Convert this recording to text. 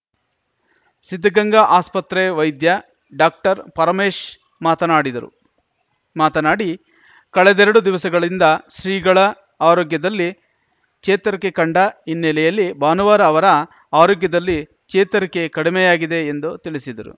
ಸಿದ್ಧಗಂಗಾ ಆಸ್ಪತ್ರೆ ವೈದ್ಯ ಡಾಕ್ಟರ್ಪರಮೇಶ್‌ ಮಾತನಾಡಿದರು ಮಾತನಾಡಿ ಕಳೆದೆರೆಡು ದಿವಸಗಳಿಂದ ಶ್ರೀಗಳ ಆರೋಗ್ಯದಲ್ಲಿ ಚೇತರಿಕೆ ಕಂಡ ಹಿನ್ನೆಲೆಯಲ್ಲಿ ಭಾನುವಾರ ಅವರ ಆರೋಗ್ಯದಲ್ಲಿ ಚೇತರಿಕೆ ಕಡಿಮೆಯಾಗಿದೆ ಎಂದು ತಿಳಿಸಿದರು